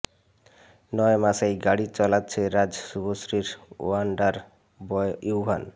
নয় মাসেই গাড়ি চালাচ্ছে রাজ শুভশ্রীর ওয়ান্ডার বয় ইউভান